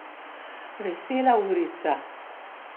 Vesela urica.